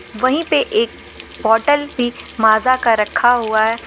वहीं पे एक बोतल माजा का रखा हुआ है।